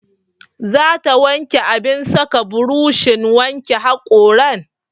Za ta wanke abin saka burushin wanke haƙoran?